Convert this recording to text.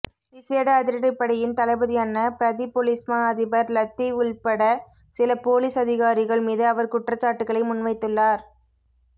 விசேட அதிரடிப்படையின் தளபதியான பிரதிபொலிஸ்மா அதிபர் லத்தீவ் உட்பட சில பொலிஸ் அதிகாரிகள் மீது அவர் குற்றச்சாட்டுகளை முன்வைத்துள்ளார்